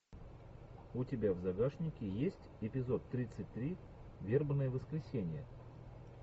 у тебя в загашнике есть эпизод тридцать три вербное воскресенье